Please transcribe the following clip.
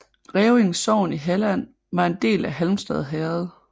Rævinge sogn i Halland var en del af Halmstad herred